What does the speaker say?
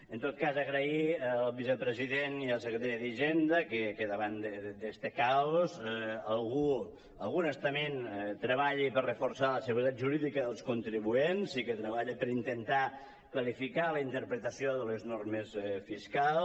en tot cas agrair al vicepresident i al secretari d’hisenda que davant d’este caos algun estament treballi per reforçar la seguretat jurídica dels contribuents i que tre·balli per intentar clarificar la interpretació de les normes fiscals